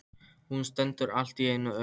Hún stendur allt í einu upp.